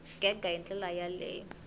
gega hi ndlela ya le